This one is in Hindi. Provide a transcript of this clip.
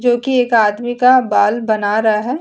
जो कि एक आदमी का बाल बना रहा है।